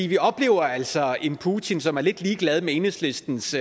vi oplever altså en putin som er lidt ligeglad med enhedslistens